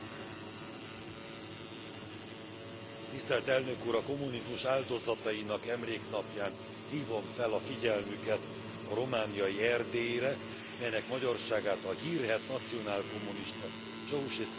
A Kommunizmus Áldozatainak Emléknapján hívom fel a figyelmüket a romániai Erdélyre, melynek magyarságát a hírhedt nacionálkommunista Ceausescu diktatúra megpróbálta erővel asszimilálni.